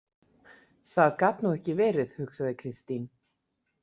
Það gat nú ekki verið, hugsaði Kristín.